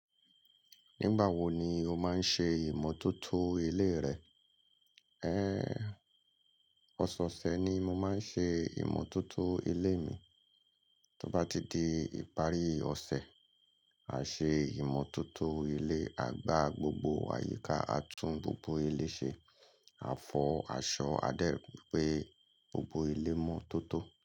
Nígbà wo ni o máa ń ṣe ìmọ̀tótó ilé rẹ? Ọ̀sẹ̀ ọ̀sẹ̀ ni mo máa ń ṣe ìmọ̀tótó ilé mi. Tí ó bá ti di ìparí ọ̀sẹ̀, a ṣe ìmọ̀tótó ilé, a gbá gbogbo àyíká, a tún gbogbo ilé ṣe, a fọ, a ṣọ, a dẹ̀ ri pé gbogbo ilé mọ́ tótó.